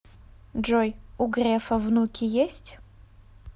джой у грефа внуки есть